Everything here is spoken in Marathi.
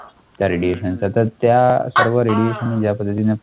त्या radiations चं तर त्या सर्व radiation ज्या पद्धतीने